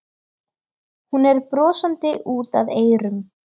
Hún er brosandi út að eyrum.